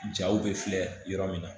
Jaw bɛ filɛ yɔrɔ min na